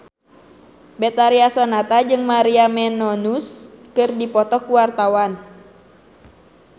Betharia Sonata jeung Maria Menounos keur dipoto ku wartawan